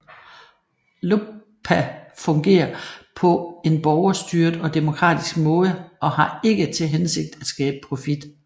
LOBPA fungerer på en borgerstyret og demokratisk måde og har ikke til hensigt at skabe profit